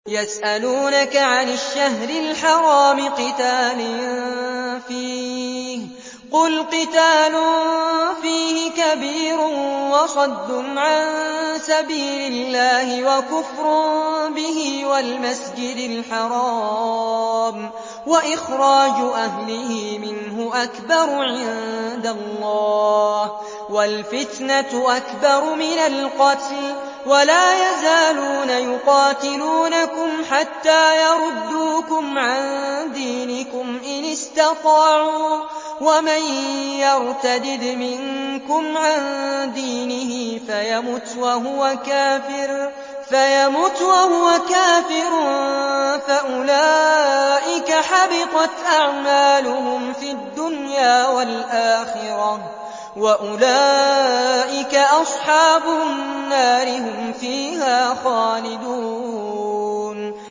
يَسْأَلُونَكَ عَنِ الشَّهْرِ الْحَرَامِ قِتَالٍ فِيهِ ۖ قُلْ قِتَالٌ فِيهِ كَبِيرٌ ۖ وَصَدٌّ عَن سَبِيلِ اللَّهِ وَكُفْرٌ بِهِ وَالْمَسْجِدِ الْحَرَامِ وَإِخْرَاجُ أَهْلِهِ مِنْهُ أَكْبَرُ عِندَ اللَّهِ ۚ وَالْفِتْنَةُ أَكْبَرُ مِنَ الْقَتْلِ ۗ وَلَا يَزَالُونَ يُقَاتِلُونَكُمْ حَتَّىٰ يَرُدُّوكُمْ عَن دِينِكُمْ إِنِ اسْتَطَاعُوا ۚ وَمَن يَرْتَدِدْ مِنكُمْ عَن دِينِهِ فَيَمُتْ وَهُوَ كَافِرٌ فَأُولَٰئِكَ حَبِطَتْ أَعْمَالُهُمْ فِي الدُّنْيَا وَالْآخِرَةِ ۖ وَأُولَٰئِكَ أَصْحَابُ النَّارِ ۖ هُمْ فِيهَا خَالِدُونَ